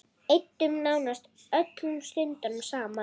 Eyddum nánast öllum stundum saman.